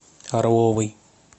орловой